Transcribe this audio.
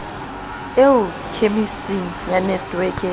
eo khemiseng ya netweke ya